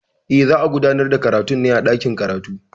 E, za a gudanar da karatun ne a dakin karatu.